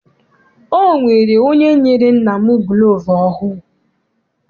Ọ nwere onye nyere nna m gulovu ọhụụ.